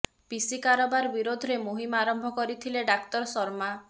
ପିସି କାରବାର ବିରୋଧରେ ମୁହିମ ଆରମ୍ଭ କରିଥିଲେ ଡାକ୍ତର ଶର୍ମା